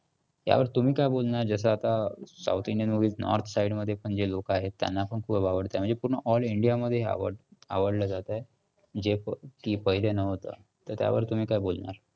त्यावर तुम्ही काय बोलणार जसं आता south indian movies north side मध्ये पण हे लोकं आहेत त्यांना पण खूप आवडताय म्हणजे पूर्ण all India मध्ये हे आवडलं जातंय. जे की पहिले नव्हतं. तर त्यावर तुम्ही काय बोलणार?